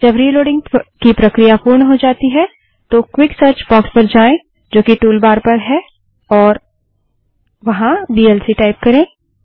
जब रिलोड़िंग की प्रक्रिया पूर्ण हो जाती है तो क्वीक सर्च बाक्स पर जाएँ जो कि टूल बार पर है और वीएलसी टाइप करें